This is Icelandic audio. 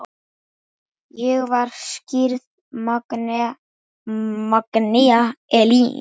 Ég var skírð Magnea Elín.